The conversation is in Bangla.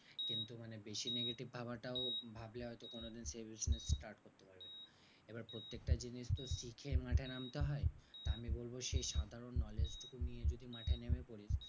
কিন্তু মানে বেশি negative ভাবাটাও ভাবলে হয়তো কোনোদিন সেই business start করতে পারবি না। এবার প্রত্যেকটা জিনিস তোর শিখেই মাঠে হয়? আমি বলবো সেই সাধারণ knowledge টুকু নিয়ে যদি মাঠে নেমে পড়ি,